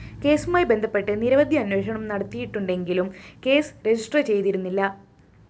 കേസുമായി ബന്ധപ്പെട്ട് നിരവധി അന്വേഷണം നടന്നിട്ടുണ്ടെങ്കിലും കേസ് രജിസ്റ്റർ ചെയ്തിരുന്നില്ല